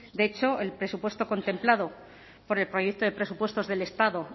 de hecho el presupuesto contemplado por el proyecto de presupuestos del estado